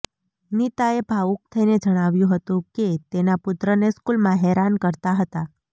નીતાએ ભાવૂક થઇને જણાવ્યુ હતું કે તેના પુત્રને સ્કૂલમાં હેરાન કરતા હતા